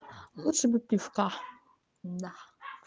лучше бы пивка да